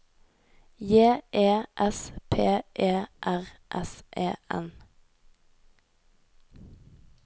J E S P E R S E N